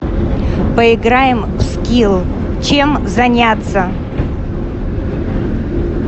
поиграем в скилл чем заняться